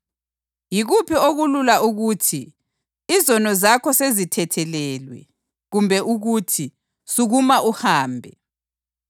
Yikuphi okulula ukuthi, ‘Izono zakho sezithethelelwe’ kumbe ukuthi, ‘Sukuma uhambe’?